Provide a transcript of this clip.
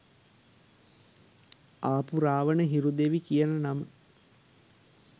ආපු රාවන හිරු දෙවි කියන නම